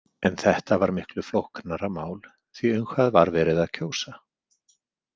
En þetta var miklu flóknara mál því um hvað var verið að kjósa.